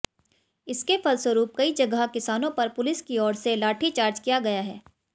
इसके फलस्वरुप कई जगह किसानों पर पुलिस की ओर से लाठी चार्ज किया गया है